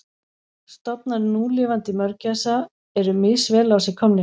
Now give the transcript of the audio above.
Stofnar núlifandi mörgæsa eru misvel á sig komnir.